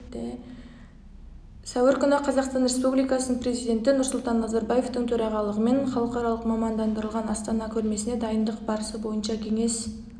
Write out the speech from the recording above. сәуір күні қазақстан республикасының президенті нұрсұлтан назарбаевтың төрағалығымен халықаралық мамандандырылған астана көрмесіне дайындық барысы бойынша кеңес